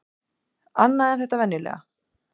Annað en þetta venjulega.